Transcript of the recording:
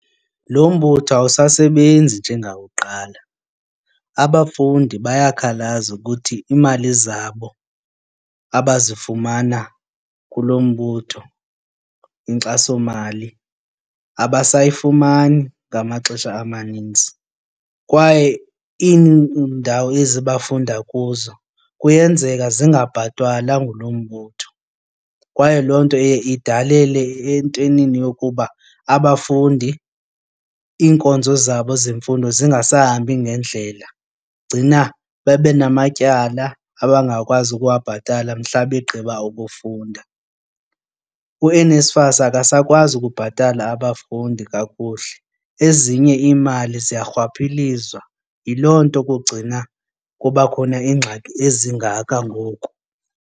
Lo mbutho awusasebenzi njengakuqala abafundi bayakhalaza ukuthi iimali zabo abazifumana kulo mbutho inkxasomali abasayifumani ngamaxesha amaninzi. Kwaye iindawo ezi bafunda kuzo kuyenzeka zingabhatalwa ngulo mbutho. Kwaye loo nto iye idalele entwenini yokuba abafundi iinkonzo zabo zemfundo zingasahambi ngendlela. Gcina babe namatyala abangakwazi ukuwabhatala mhla begqiba ukufunda. U-NFSAS akasakwazi ukubhatala abafundi kakuhle, ezinye iimali ziya rhwaphilizwa, yiloo nto kugcina kuba khona ingxaki ezingako ngoku.